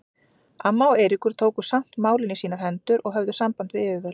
Amma og Eiríkur tóku samt málin í sínar hendur og höfðu samband við yfirvöld.